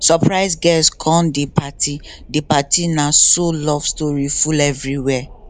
surprise guest come the party the party na so love story full everywhere